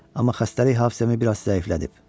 Amma xəstəlik hafizəmi biraz zəiflədib.